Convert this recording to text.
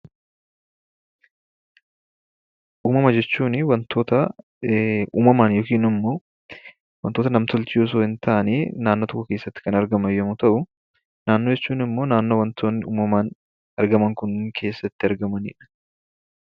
Uumama jechuun waantota uumamaan yookiin immoo waantota nam-tolchee osoo hin taane naannoo tokko keessatti Kan argaman yommuu tahu, Naannoo jechuu immoo naannoo waantotni uumamaan argaman kunneen keessatti argamanidha.